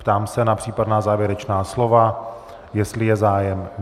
Ptám se na případná závěrečná slova, jestli je zájem.